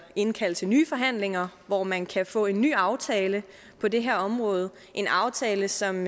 indkalde til nye forhandlinger hvor man kan få en ny aftale på det her område en aftale som